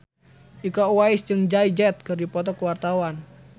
Iko Uwais jeung Jay Z keur dipoto ku wartawan